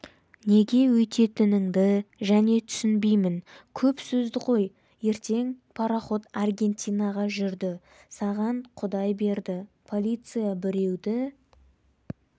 неге өйтетініңді және түсінбеймін көп сөзді қой ертең пароход аргентинаға жүрді саған құдай берді полиция біреуді